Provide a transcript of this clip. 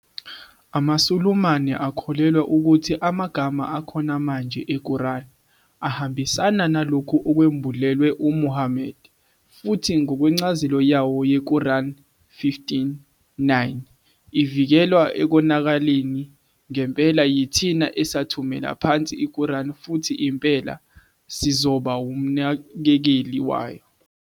AmaSulumane akholelwa ukuthi amagama akhona manje eQuran ahambisana nalokho okwembulelwe uMuhammad, futhi ngokwencazelo yawo yeQuran 15-9, ivikelwe ekonakaleni, "Ngempela, yithina esathumela phansi iQuran futhi impela, Sizoba umnakekeli wayo".